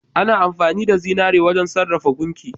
Ana amfani da zinari wajen sarrafa gunki.